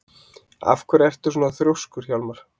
Af hverju ertu svona þrjóskur, Hjálmar?